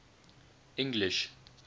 english